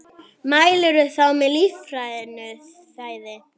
Mælirðu þá með lífrænu fæði?